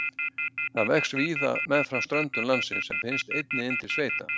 Það vex víða meðfram ströndum landsins en finnst einnig inn til sveita.